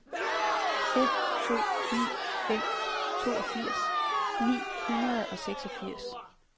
fem to ni fem toogfirs ni hundrede og seksogfirs